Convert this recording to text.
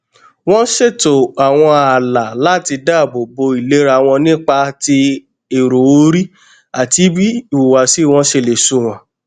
wón ṣètò àwọn ààlà láti dáàbò bo ìlera wọn nípa ti èrò orí àti bí ìhùwàsí wọn ṣe lè sunwọn